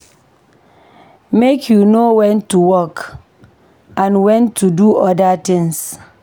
Make you know wen to work and wen to do oda tins.